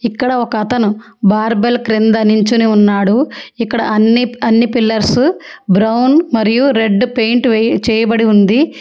ఇక్కడ ఒక అతను బార్బెల్ క్రింద నించొని ఉన్నాడు ఇక్కడ అన్ని అన్ని పిల్లర్స్ బ్రౌన్ మరియు రెడ్ పెయింట్ వెయ్ చేయబడి ఉంది.